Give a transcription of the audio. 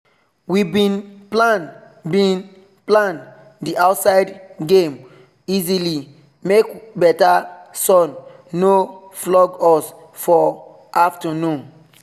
we bin plan bin plan the outside game easily make better sun no flog us for afternoon